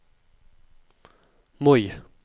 Moi